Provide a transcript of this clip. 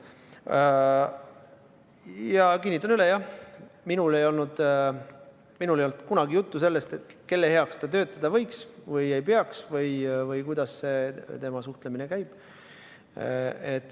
Ja kinnitan üle, et jah, minul ei olnud kunagi juttu sellest, kelle heaks ta töötada võiks või ei võiks, ega sellest, kuidas tema suhtlemine käib.